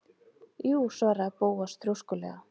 Jú- svaraði Bóas þrjóskulega.